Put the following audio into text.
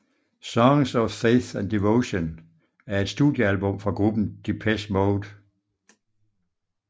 Songs of Faith and Devotion er et studiealbum fra gruppen Depeche Mode